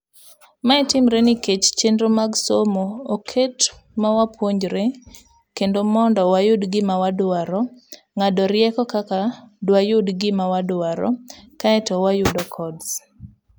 Mae timre nikech chenro mag somo oket mawapuonjre kendwamondo wayud gima wadwaro, ng'ado rieko kaka dwayud gima wadwaro kaeto wayudo codes.